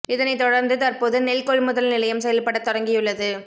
இதனை தொடர்ந்து தற்போது நெல் கொள்முதல் நிலையம் செயல்படத் தொடங்கியுள்ளது